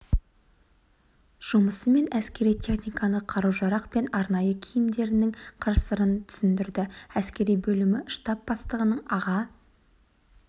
жұмысы мен әскери техниканы қару-жарақ пен арнайы киімдерінің қыр-сырын түсіндірді әскери бөлімі штаб бастығының аға